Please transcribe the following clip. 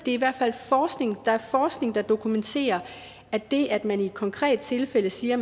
er i hvert fald forskning der dokumenterer at det at man i et konkret tilfælde siger at